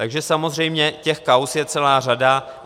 Takže samozřejmě těch kauz je celá řada.